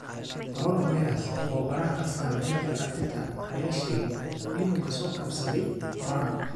Coronavirus: Tababaraha Arsenal Mikel Arteta ayaa sheegay inuu ka soo kabsaday corona